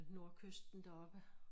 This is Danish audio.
Nordkysten deroppe